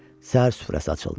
Səhər süfrəsi açıldı.